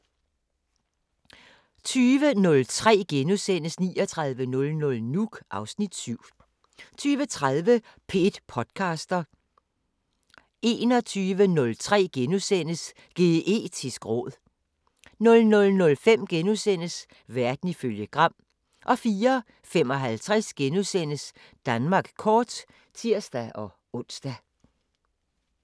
20:03: 3900 Nuuk (Afs. 7)* 20:30: P1 podcaster 21:03: Geetisk råd * 00:05: Verden ifølge Gram * 04:55: Danmark kort *(tir-ons)